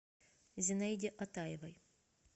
зинаиде атаевой